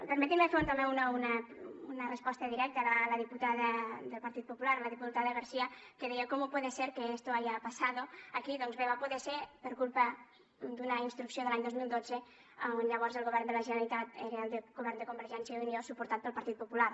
permetin me fer també una resposta directa a la diputada del partit popular la diputada garcía que deia cómo puede ser que esto haya pasado aquí doncs bé va poder ser per culpa d’una instrucció de l’any dos mil dotze on llavors el govern de la generalitat era el govern de convergència i unió suportat pel partit popular